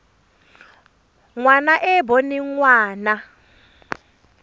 ngwana e e boneng ngwana